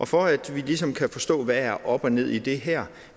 for at vi ligesom kan forstå hvad der er op og ned i det her